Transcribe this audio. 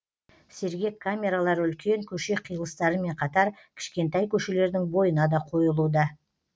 сергек камералары үлкен көше қиылыстарымен қатар кішкентай көшелердің бойына да қойылуда